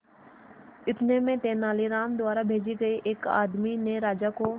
इतने में तेनालीराम द्वारा भेजे गए एक आदमी ने राजा को